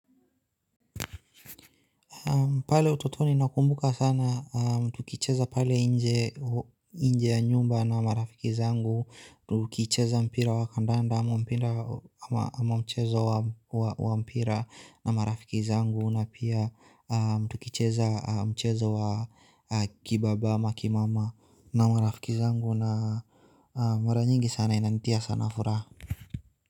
Pale utotoni nakumbuka sana, tukicheza pale nje ya nyumba na marafiki zangu, tukicheza mpira wa kandanda ama mpira ama mchezo wa mpira na marafiki zangu na pia tukicheza mchezo wa kibaba ma kimama na marafiki zangu na mara nyingi sana inanitia sana furaha.